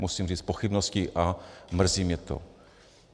Musím říct pochybnosti a mrzí mě to.